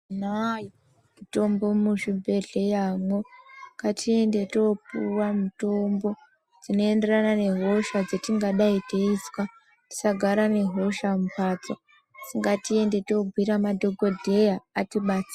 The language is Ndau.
Tinayo mitombo mu zvibhedhleya mwo ngatiende topuwa mutombo dzino enderana ne hosha dzetingadai teizwa tisagara ne hosha mu mbatso asi ngati ende to bhuyira madhokodheya ati batsire.